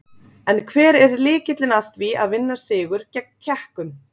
En hver er lykillinn að því að vinna sigur gegn Tékkum?